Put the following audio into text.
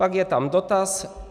Pak je tam dotaz.